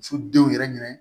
Muso denw yɛrɛ ɲinɛ